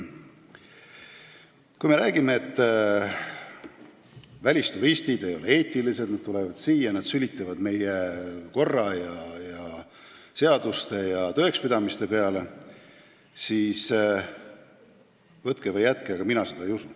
Kui me räägime, et välisturistid ei ole eetilised, nad tulevad siia, sülitavad meie korra, seaduste ja tõekspidamiste peale, siis võtke või jätke, aga mina seda ei usu.